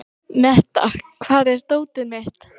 Metta, hvar er dótið mitt?